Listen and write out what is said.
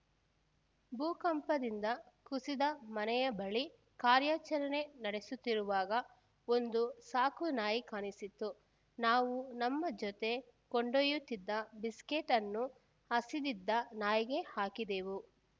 ಭೂಕಂಪದಿಂದ ಕುಸಿದ ಮನೆಯ ಬಳಿ ಕಾರ್ಯಾಚರಣೆ ನಡೆಸುತ್ತಿರುವಾಗ ಒಂದು ಸಾಕು ನಾಯಿ ಕಾಣಿಸಿತ್ತು ನಾವು ನಮ್ಮ ಜೊತೆ ಕೊಂಡೊಯ್ಯುತ್ತಿದ್ದ ಬಿಸ್ಕೆಟ್‌ ಅನ್ನು ಹಸಿದಿದ್ದ ನಾಯಿಗೆ ಹಾಕಿದೆವು